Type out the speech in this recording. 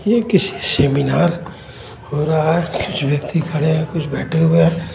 ये किसी सेमिनार हो रहा हे कुछ व्यक्ति खड़े है कुछ बैठे हुए हैं.